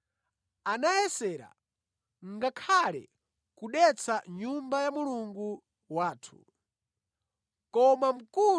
Anayesera ngakhale kudetsa Nyumba ya Mulungu wathu. Ndiye ife tinamugwira.